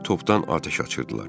Ara bir topdan atəş açırdılar.